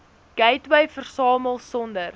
gateway versamel sonder